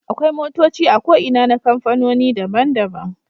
Akwai motoci a ko Ina na kamfanoni daban daban